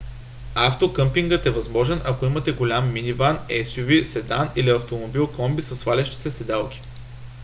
автокъмпингът е възможен ако имате голям миниван suv седан или автомобил комби със свалящи се седалки